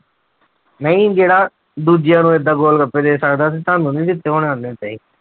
ਨਹੀਂ ਜਿਹੜਾ ਦੂਜਿਆਂ ਨੂੰ ਏਦਾਂ ਗੋਲਗੱਪੇ ਦੇ ਸਕਦਾ ਤੇ ਤੁਹਾਨੂੰ ਨੀ ਦਿੱਤੇ ਹੋਣੇ ਉਹਨੇ ਏਦਾਂ ਹੀ।